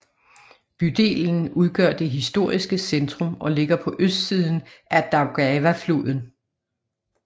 Bydelen udgør det historiske centrum og ligger på østsiden af Daugavafloden